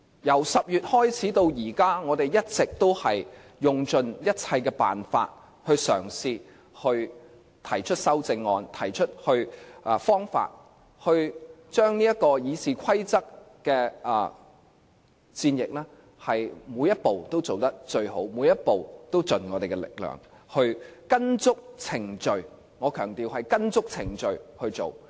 由10月開始至今，我們一直都用盡一切辦法嘗試提出修正案，將《議事規則》的戰役，每一步都做得最好，每一步都盡我們力量，跟足程序——我強調——是跟足程序去做。